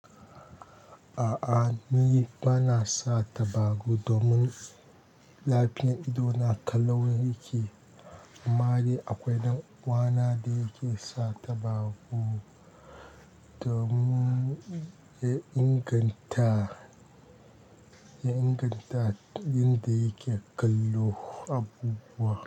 A'a ni bana sa tabagu domin lafiyan ido na ƙalau yake. Amma dai akwai ɗan uwana da yake sa tabagu domin ya inganta, ya inganta inda yake kallo abubuwa.